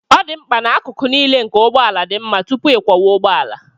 Ọ dị mkpa na akụkụ niile nke ụgbọ ala dị mma tupu ịkwọwa ụgbọ ala